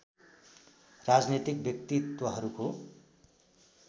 राजनीतिक व्यक्तित्त्वहरूको